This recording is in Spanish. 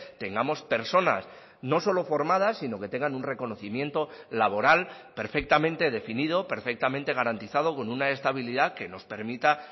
tengamos personas no solo formadas sino que tengan un reconocimiento laboral perfectamente definido perfectamente garantizado con una estabilidad que nos permita